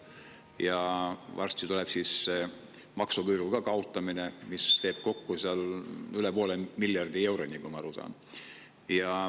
Ja varsti tuleb ka maksuküüru kaotamine, nii et kõik kokku teeb see üle poole miljardi euro, nagu ma aru saan.